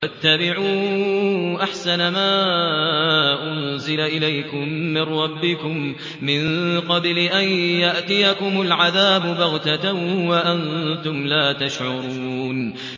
وَاتَّبِعُوا أَحْسَنَ مَا أُنزِلَ إِلَيْكُم مِّن رَّبِّكُم مِّن قَبْلِ أَن يَأْتِيَكُمُ الْعَذَابُ بَغْتَةً وَأَنتُمْ لَا تَشْعُرُونَ